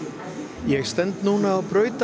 ég stend núna á